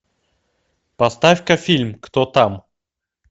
поставь ка фильм кто там